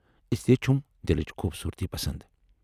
اسلئے چھَم دِلٕچ خوبصوٗرتی پسند۔